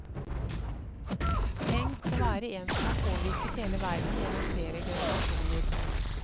Tenk å være en som har påvirket hele verden gjennom flere generasjoner.